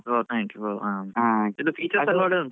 ಹಾ note nine pro ಅದು features ಎಲ್ಲಾ ಒಳ್ಳೆ ಉಂಟಾ.